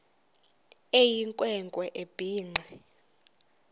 eyinkwe nkwe ebhinqe